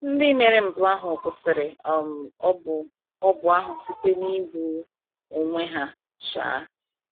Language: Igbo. Ndị mere mpụ ahụ kwusiri um ogbu ogbu ahụ site n’igbu onwe ha. um